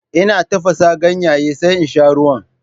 Ina tafasa ganyen sai in sha ruwan.